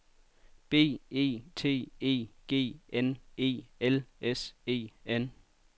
B E T E G N E L S E N